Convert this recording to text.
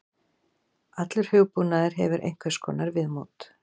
Allur hugbúnaður hefur einhvers konar viðmót.